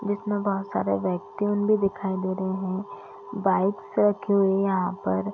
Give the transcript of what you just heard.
जिसमें बहुत सारे वेकूम भी दिखाई दे रहे हैं बाइक्स रखी हुई हैं यहाँ पर।